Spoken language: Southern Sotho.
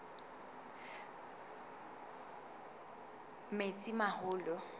metsimaholo